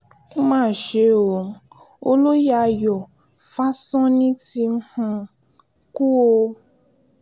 ó mà ṣe o olóye ayọ̀ fásánmi ti um kú o